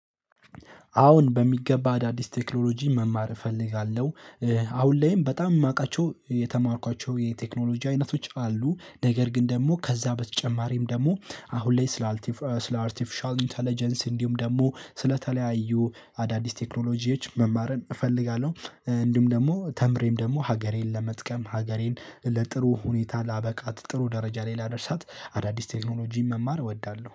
አሁን በሚገባ አዳዲስ ቴክኖሎጂ መማር እፈልጋለሁ። አሁን ላይም በጣም የማውቃቸው የተማርኳቸው የቴክኖሎጂ አይነቶች አሉ። ነገር ግን ደግሞ ከዛ በተጨማሪም ደግሞ አሁን ላይ ስለ አርቲፊሻል ኢንተለጀንስ እንዲሁም ደግሞ። ስለተለያዩ አዳዲስ ቴክኖሎጂዎች መማርን እፈልጋለሁ። እንደውም ደግሞ ተምሬም ደግሞ ሀገሬን ለመጥቀም ሀገሬን ለጥሩ ሁኔታ ላበቃት ጥሩ ደረጃ ላይ ላደርሳት አዳዲስ ቴክኖሎጂን መማር እወዳለሁ።